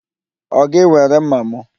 Ọ gị were ḿmàmụ?